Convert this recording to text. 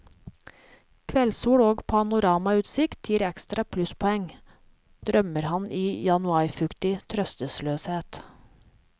Kveldssol og panoramautsikt gir ekstra plusspoeng, drømmer han i januarfuktig trøstesløshet.